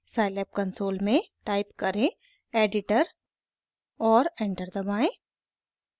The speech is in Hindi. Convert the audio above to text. scilab कंसोल में टाइप करें editor और एंटर दबाएं